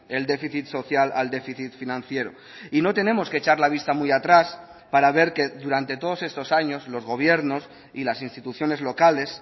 el déficit social al déficit financiero y no tenemos que echar la vista muy atrás para ver que durante todos estos años los gobiernos y las instituciones locales